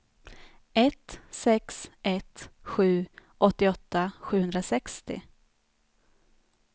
ett sex ett sju åttioåtta sjuhundrasextio